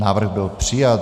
Návrh byl přijat.